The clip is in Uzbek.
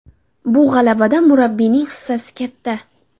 Bu g‘alabada murabbiyning hissasi katta!